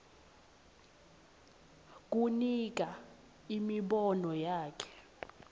kunika imibono yakhe